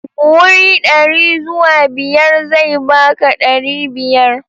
Wuri dari zuwa biyar zai baka dari biyar.